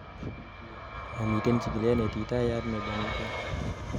momiten chikilet neititayat nebo niton